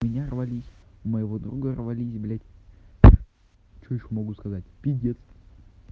у меня рвались моего друга рвались блять что ещё могу сказать пиздец